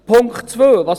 Punkt 2